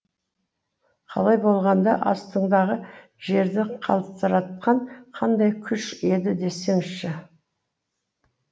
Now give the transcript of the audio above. қалай болғанда астыңдағы жерді қалтыратқан қандай күш еді десеңізші